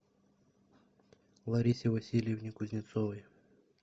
ларисе васильевне кузнецовой